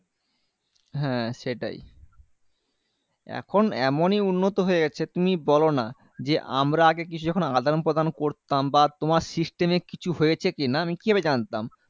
হ্যাঁ সেটাই এখন এমনই উন্নত হয়ে গেছে তুমি বলোনা যে আমরা আগে কিছু যখন আদান প্রদান করতাম বা তোমার system এ কিছু হয়েছে কিনা আমি কিভাবে জানতাম